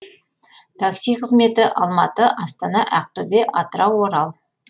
такси қызметі алматы астана ақтөбе атырау орал